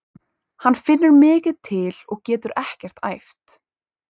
Hann finnur mikið til og getur ekkert æft.